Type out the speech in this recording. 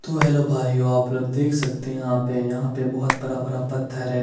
तो हेल्लो भाइयो आप लोग देख सकते है यहा पे यहा पे बोहोत बड़ा बड़ा पत्थर है।